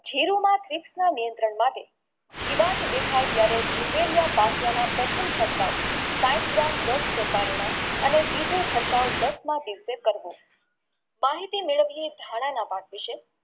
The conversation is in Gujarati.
જીરુમાં ત્રિશણા નિયંત્રણ માટે જીવાત દેખાય ત્યરે પ્રથમ છટકાવ પાંચ gram દસ ton માં અને બીજો છટકાવ દસમા દિવસે કરવો માહિતી મેળવીયે ધન પાક વિષે